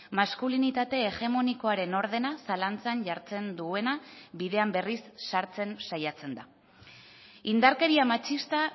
maskulinitate hegemonikoaren ordena zalantzan jartzen duena bidean berriz sartzen saiatzen da indarkeria matxista